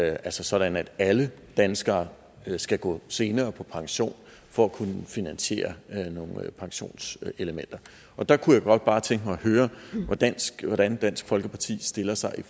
altså sådan at alle danskere skal gå senere på pension for at kunne finansiere nogle pensionselementer der kunne jeg godt bare tænke mig at høre hvordan hvordan dansk folkeparti stiller sig